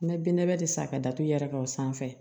N bɛ binnabɛ de san ka datugu yɛrɛ ka o sanfɛ